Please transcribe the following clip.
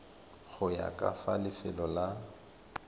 go ya ka lefelo la